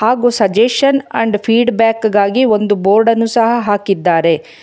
ಹಾಗೂ suggestion and feedback ಗಾಗಿ ಒಂದು ಬೋರ್ಡ ನ್ನು ಸಹ ಹಾಕಿದ್ದಾರೆ.